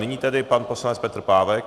Nyní tedy pan poslanec Petr Pávek.